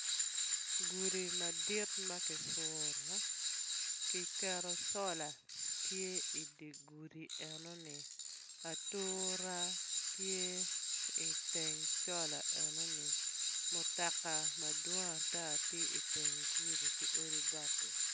Gudi madit ma kipuro kiketo cola tye idi gudi enoni atura tye iteng cola enoni mutoka madwong ata tye iteng gudi ki odi bati.